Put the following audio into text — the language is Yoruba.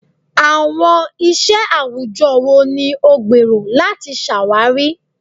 Awọn iṣẹ awujọ wo ni o gbero lati ṣawari?